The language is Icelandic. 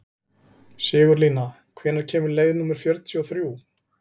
Sigurlína, hvenær kemur leið númer fjörutíu og þrjú?